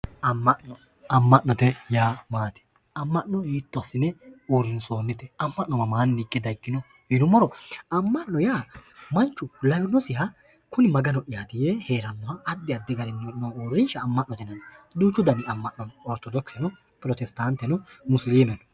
Amma'no. Amma'note yaa maati? Amma'no hiitto assine uurrinsoonnite? Amma'no mamaanni hige daggino yinummo Amma'no yaa manchu lawinosiha kuni Maga'noyaati yee heerannoha addi addi garinni noo uurrinsha Amma'note, duuchu dani Amma'no no. Ortodokise pirotestaante,